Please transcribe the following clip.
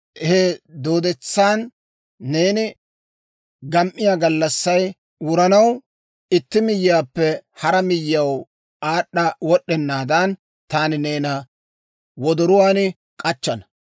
He dooddetsan neeni gam"iyaa gallassay wuranaw, itti miyyiyaappe hara miyyiyaw aad'd'a wod'd'ennaadan, taani neena wodoruwaan k'achchana.